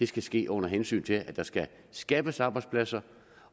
skal ske under hensyn til at der skal skabes arbejdspladser